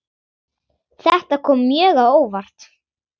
Þetta kom mjög á óvart.